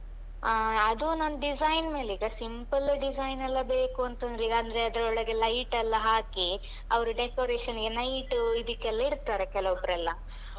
ಅ ಅದು ನಾನ್ ಡಿಸೈನ್ ಮೇಲೀಗ ಸಿಂಪಲ್ ಡಿಸೈನ್ ಎಲ್ಲ ಬೇಕೂಂತಂದ್ರೆ ಅಂದ್ರೆ ಅದರೊಳಗೆಲ್ಲ light ಲ್ಲ ಹಾಕಿ ಅವ್ರು decoration night ಇದಿಕ್ಕೆಲ್ಲ ಇಡ್ತಾರೆ ಕೆಲವೊಬ್ರೆಲ್ಲ.